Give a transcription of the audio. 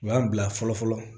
U y'an bila fɔlɔ fɔlɔ